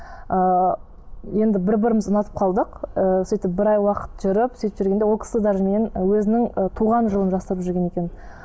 ыыы енді бір бірімізді ұнатып қалдық і сөйтіп бір ай уақыт жүріп сөйтіп жүргенде ол кісі даже меннен өзінің і туған жылын жасырып жүрген екен